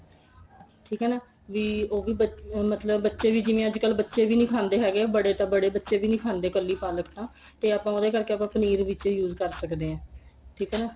ਠੀਕ ਏ ਨਾ ਵੀ ਉਹ ਵੀ ਬੱਚੇ ਮਤਲਬ ਜਿਵੇਂ ਅੱਜਕਲ ਬੱਚੇ ਵੀ ਨਹੀਂ ਖਾਂਦੇ ਹੈਗੇ ਬੜੇ ਬੜੇ ਤਾਂ ਬੜੇ ਬੱਚੇ ਵੀ ਨਹੀਂ ਖਾਂਦੇ ਕੱਲੀ ਪਲਕ ਤਾਂ ਤੇ ਆਪਾਂ ਉਹਦੇ ਕਰਕੇ ਆਪਾਂ ਪਨੀਰ ਵਿੱਚ use ਕਰ ਸਕਦੇ ਆ ਠੀਕ ਏ ਨਾ